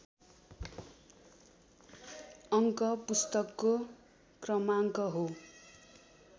अङ्क पुस्तकको क्रमाङ्क हो